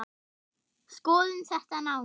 Skoðum þetta nánar